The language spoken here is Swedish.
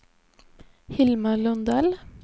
Hilma Lundell